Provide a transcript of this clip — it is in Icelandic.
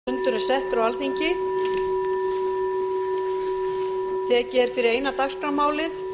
fundur er settur á alþingi tekið er fyrir eina dagskrármálið